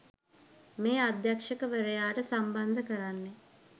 මේ අධ්‍යක්ෂවරයාට සම්බන්ධ කරන්නේ.